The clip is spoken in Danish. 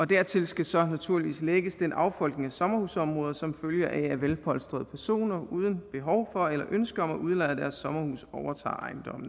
dertil skal så naturligvis lægges den affolkning af sommerhusområder som følger af at velpolstrede personer uden behov for eller ønske om at udleje deres sommerhus overtager